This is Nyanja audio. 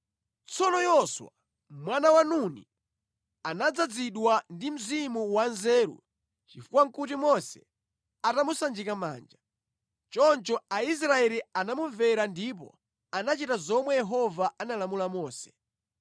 Tsono Yoswa, mwana wa Nuni anadzazidwa ndi mzimu wanzeru chifukwa nʼkuti Mose atamusanjika manja. Choncho Aisraeli anamumvera ndipo anachita zomwe Yehova analamula Mose.